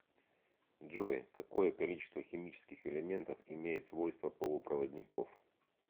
джой какое количество химических элементов имеет свойства полупроводников